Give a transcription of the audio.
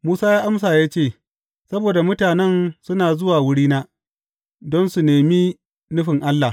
Musa ya amsa ya ce, Saboda mutanen suna zuwa wurina, don su nemi nufin Allah.